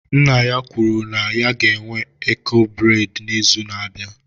Nna ya kwuru na ya ga-enwe eko breị́d n'izu na-abịa